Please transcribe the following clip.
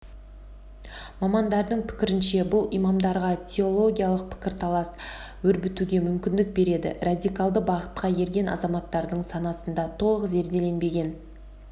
мамандардың пікірінше бұл имамдарға теологиялық пікірталас өрбітуге мүмкіндік береді радикалды бағытқа ерген азаматтардың санасында толық зерделенбеген